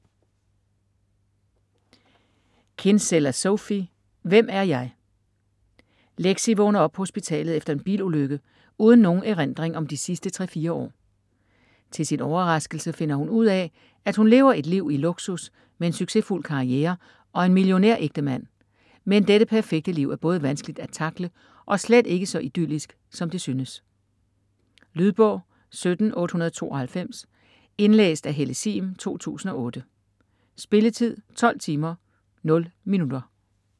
Kinsella, Sophie: Hvem er jeg? Lexi vågner op på hospitalet efter en bilulykke uden nogen erindring om de sidste 3-4 år. Til sin overraskelse finder hun ud af, at hun lever et liv i luksus med en succesfuld karriere og en millionær-ægtemand, men dette perfekte liv er både vanskeligt at tackle og slet ikke så idyllisk, som det synes. Lydbog 17892 Indlæst af Helle Sihm, 2008. Spilletid: 12 timer, 0 minutter.